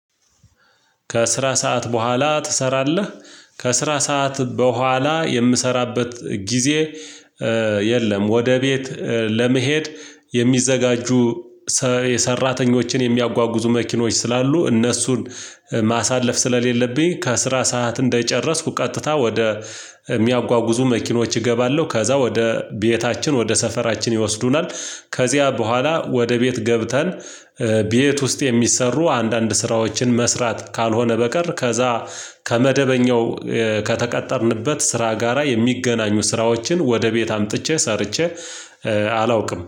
ከስራ ሰዓት በኋላ ትሰራለህ? ከስራ ሰዓት በኋላ የምሰራበት ጊዜ የለም ወደ ቤት ለመሄድ የሚዘጋጁ የሰራተኞችን የሚያጓጉዙ መኪኖች ስላሉ እነሱን ማሳለፍ ስለሌለብኝ ከስራ ሰዓት እንደጨረስኩ ቀጥታ ወደ የሚያጓጉዙ መኪኖች እገባለሁ ከዛ ወደ ቤታችን ወደ ሰፈራችን ይወስዱናል ከዚያ በኋላ ወደ ቤት ገብተን ቤት ውስጥ የሚሰሩ አንዳንድ ስራዎችን መስራት ካልሆነ በቀር ከዛ ከመደበኛው ከተቀጠርንበት ስራ ጋራ የሚገናኙ ስራዎችን ወደ ቤት አምጥቼ ሰርቼ አላውቅም